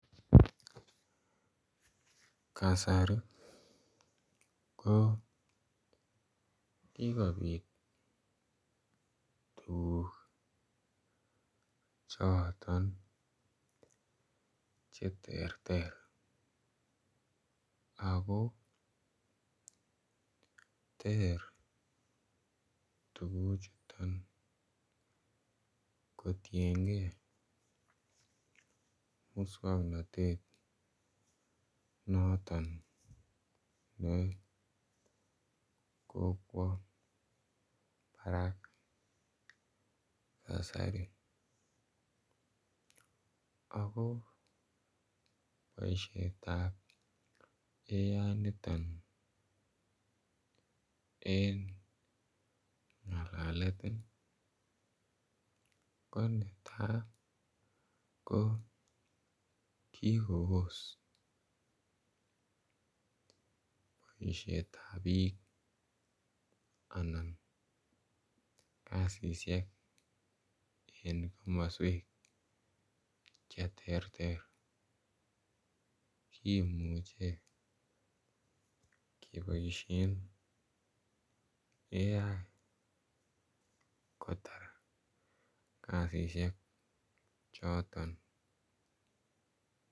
Kasari ko kikopit tuguk choton che terter ako ter tuguchuton kotiengee muswognotet noton ne kokwo barak kasari ako boishetab AI niton en ngalalet ii ko netaa ko kikobos boishetab biik anan kazishek en komoswek che terter kimuche keboishen AI kotar kazishek choton